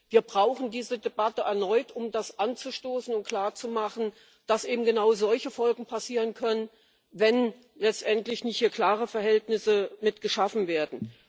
Wir brauchen diese Debatte erneut, um das anzustoßen und klarzumachen, dass es eben genau solche Folgen haben können, wenn letztendlich nicht klare Verhältnisse hier geschaffen werden.